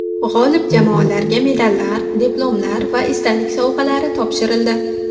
G‘olib jamoalarga medallar, diplomlar va esdalik sovg‘alari topshirildi.